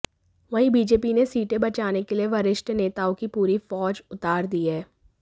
वहीं बीजेपी ने सीटें बचाने के लिए वरिष्ठ नेताओं की पूरी फ़ौज उतार दी है